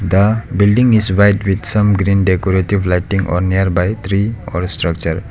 the building is white with some green decorative lighting on a nearby tree or structure.